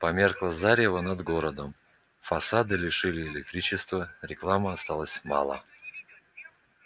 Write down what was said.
померкло зарево над городом фасады лишили электричества рекламы осталось мало